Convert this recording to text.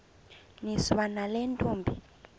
niswa nale ntombi